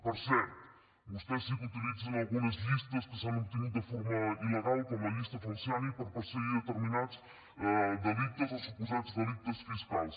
per cert vostès sí que utilitzen algunes llistes que s’han obtingut de forma il·legal com la llista falciani per perseguir determinats delictes o suposats delictes fiscals